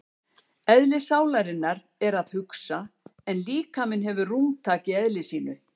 Eðli sálarinnar er að hugsa en líkaminn hefur rúmtak í eðli sínu.